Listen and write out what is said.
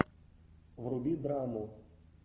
вруби драму